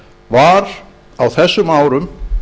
var á þessum árum